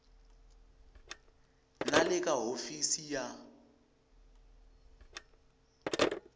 na le ka hofisi ya